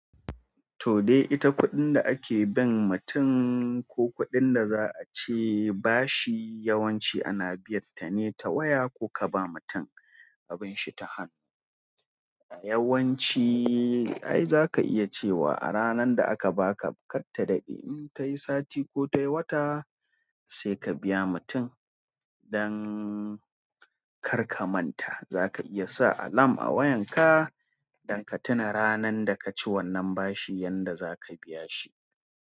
Toh dai ita kuɗin da ake bin mutum ko kuɗin da za a ce bashi yawanci ana biyan ta ne ta waya ko ka ba mutum abin shi ta hannu. Yawanci ai zaka iya cewa a ranan da aka baka katta daɗe in tayi sati ko tayi wata sai ka biya mutum dan karka manta. Za ka iya sa alam a wayan ka don ka tuna ranan da ka ci wannan bashi yanda za ka biya shi.